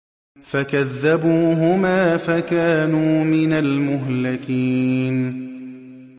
فَكَذَّبُوهُمَا فَكَانُوا مِنَ الْمُهْلَكِينَ